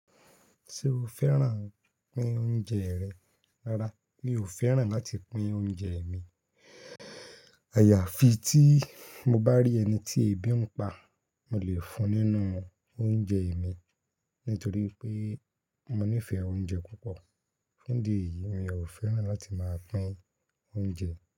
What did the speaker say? Ṣé o fẹ́ràn pín oúnjẹ rẹ? Rárá, mi ò fẹ́ràn láti pín oúnjẹ mi. Àyàfi tí mo bá rí ẹni tí ebi ń pa, mo lè fún nínú oúnjẹ mi nítorí pé mo nífẹ̀ẹ́ oúnjẹ púpọ̀. Ní dí ẹ̀yìí, mi ò fẹ́ràn láti máa pín oúnjẹ.